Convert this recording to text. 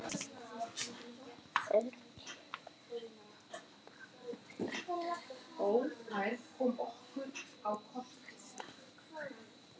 Maður kemur í manns stað.